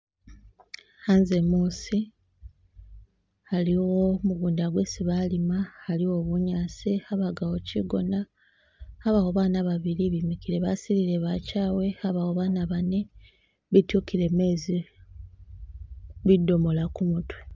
Khanze muusi aliwo mugunda gwesi balima, aliwo bunyaasi, abakawo kigoona, abawo abana babili bemikile basilile bachawe, abawo baana bane bityukile mezi bidomola kumutwe.